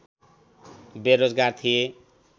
बेरोजगार थिए